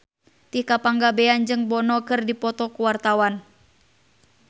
Tika Pangabean jeung Bono keur dipoto ku wartawan